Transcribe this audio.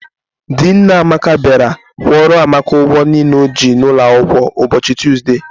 Di nne Amaka bịara kwụọrọ Amaka ụgwọ niile o ji n'ụlọ akwụkwọ ụbọchị Tuzde.